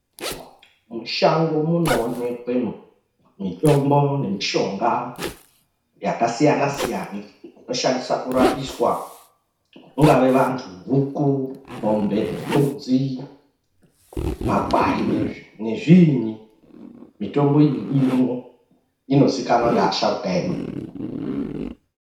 Mushango munoonekwe mithombo nemushonga yakasiyanasiyana inoshandisa kurapiswa vangave vanthu, huku, mwombe, mbudzi, makwai nezviinyi. Mithombo iyi irimwo, inozikanwa ngeasharukwa edu.